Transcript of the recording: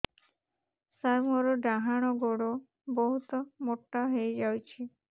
ସାର ମୋର ଡାହାଣ ଗୋଡୋ ବହୁତ ମୋଟା ହେଇଯାଇଛି